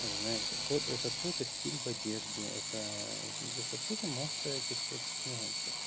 знаешь то это тоже стиль в одежде это это тоже масса этих всяких нюансов